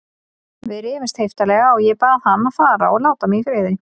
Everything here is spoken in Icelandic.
Við rifumst heiftarlega og ég bað hann að fara og láta mig í friði.